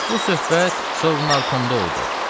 Bu söhbət Sovnarkomda oldu.